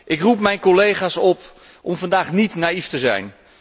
Ik roep mijn collega's op om vandaag niet naïef te zijn.